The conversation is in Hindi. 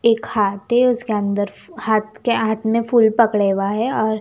एक हाथी है उसके अंदर हाथ के हाथ में फुल पकड़वा है और--